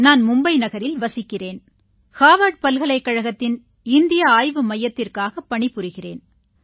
நான் மும்பை நகரில் வசிக்கிறேன் ஹார்வர்ட் பல்கலைக்கழகத்தின் இந்திய ஆய்வு மையத்திற்காகப் பணிபுரிகிறேன்